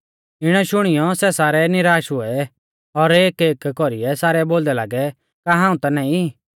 इणै शुणियौ सै सारै निराश हुऐ और एकएक कौरीऐ सारै बोलदै लागै का हाऊं ता नाईं